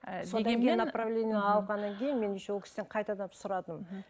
направление алғаннан кейін мен еще ол кісіден сұрадым мхм